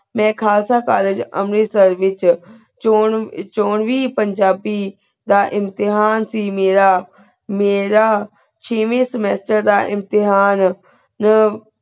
ਮੈਂ ਖਾਲਸਾ ਕਾਲਜ ਅੰਮ੍ਰਿਤਸਰ ਵਿਚ ਚੋਨ ਚੋਣ ਵੀ ਪੰਜਾਬੀ ਦਾ ਇਮਤਿਹਾਨ ਸੀ ਮੀਰਾ ਮੀਰਾ ਛੇਵੀ semester ਦਾ ਇਮਤਿਹਾਨ ਜੋ